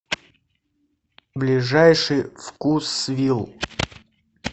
ближайший вкусвилл